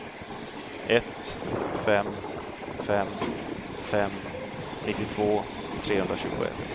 ett fem fem fem nittiotvå trehundratjugoett